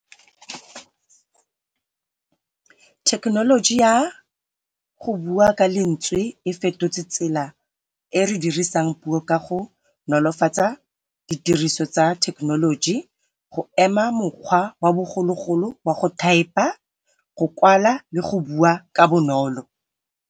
Thekenoloji ya go bua Ka letswe efetotse tsela ere dirisang puo kago nolofatsa ditiriso tsa thekenoloji, go ema mokgwa wa bogologolo wa go thaepa go kwala le go bua ka bonolo.